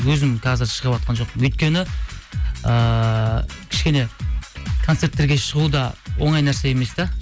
өзім қазір шығыватқан жоқпын өйткені ыыы кішкене концерттерге шығу да оңай нәрсе емес те